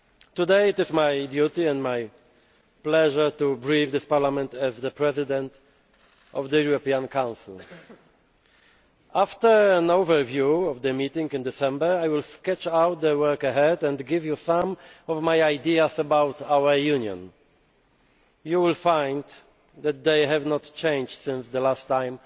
Today, it is my duty and my pleasure to brief this Parliament as the President of the European Council. After an overview of the meeting in December, I will sketch out the work ahead and give you some of my ideas about our Union. You will find that they have not changed since the last time